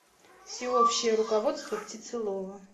всеобщее руководство птицелова